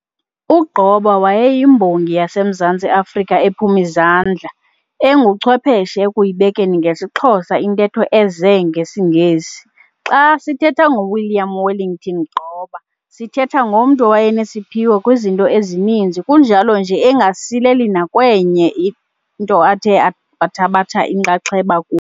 U-Gqoba wayeyiMbongi yaseMzantsi Afrika ephum'izandla, enguchwepheshe ekuyibekeni ngesiXhosa intetho eze ngesiNgesi. Xa sithetha ngoWilliam Wellington Gqoba sithetha ngomntu owayenesiphiwo kwizinto ezininzi kunjalo nje engasileli nakwenye into athe wathabatha inxaxheba ku.